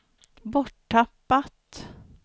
borttappat